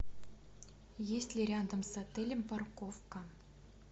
есть ли рядом с отелем парковка